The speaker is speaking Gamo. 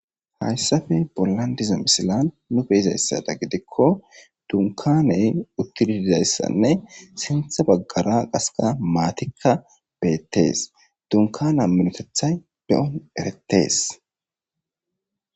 hayssappe pollan diza misilan nu beizayssada gidikko dunikaney uttid dizayssanne sintha baggara qasekka maatikka beettees dunikana minotethay beyon erettees